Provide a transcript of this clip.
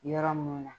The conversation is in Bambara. Yɔrɔ mun na